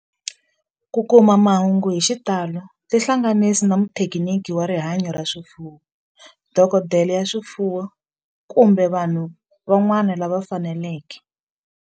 Ku kuma mahungu hi xitalo tihlanganisi na muthekiniki wa rihanyo ra swifuwo, dokodela ya swifuwo, kumbe vanhu van'wana lava fanelekeke